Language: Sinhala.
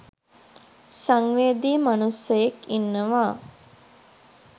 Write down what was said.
සංවේදී මනුස්සයෙක් ඉන්නවා.